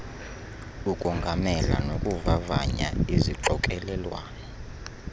ukongamela nokuvavanya izixokelelwano